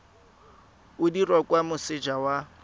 o dirwa kwa moseja wa